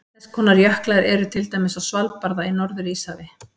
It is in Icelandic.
Þess konar jöklar eru til dæmis á Svalbarða í Norður-Íshafi.